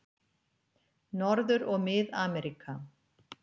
Norður- og Mið-Ameríka